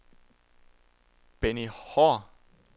Benny Haahr